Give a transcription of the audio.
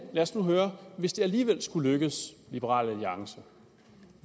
lad os nu høre hvis det alligevel skulle lykkes liberal alliance